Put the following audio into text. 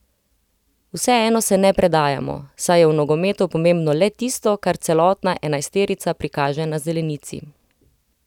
Vseeno se ne predajamo, saj je v nogometu pomembno le tisto, kar celotna enajsterica prikaže na zelenici.